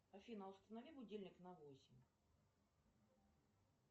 афина установи будильник на восемь